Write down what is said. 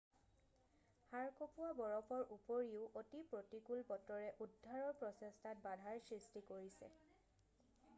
হাড় কঁপোৱা বৰফৰ উপৰিও অতি প্ৰতিকূল বতৰে উদ্ধাৰৰ প্ৰচেষ্টাত বাধাৰ সৃষ্টি কৰিছে